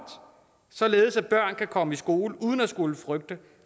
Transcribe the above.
således at børn kan komme i skole uden at skulle frygte